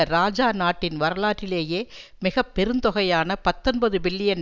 இராஜா நாட்டின் வரலாற்றிலேயே மிக பெருந்தொகையான பத்தொன்பது பில்லியன்